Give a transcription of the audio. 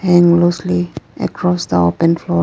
Hang loosely across the open floor.